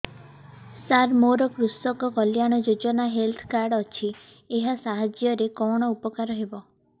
ସାର ମୋର କୃଷକ କଲ୍ୟାଣ ଯୋଜନା ହେଲ୍ଥ କାର୍ଡ ଅଛି ଏହା ସାହାଯ୍ୟ ରେ କଣ ଉପକାର ହବ